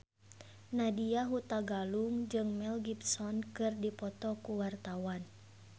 Nadya Hutagalung jeung Mel Gibson keur dipoto ku wartawan